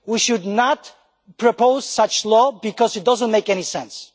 We should not propose such a law, because it does not make any sense.